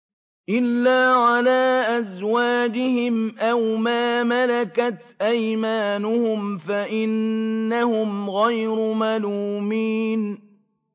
إِلَّا عَلَىٰ أَزْوَاجِهِمْ أَوْ مَا مَلَكَتْ أَيْمَانُهُمْ فَإِنَّهُمْ غَيْرُ مَلُومِينَ